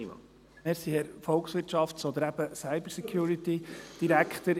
Vielen Dank, Herr Volkswirtschafts- oder eben CyberSecurity-Direktor.